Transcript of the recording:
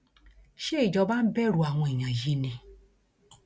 ṣé ìjọba ń bẹrù àwọn èèyàn yìí ni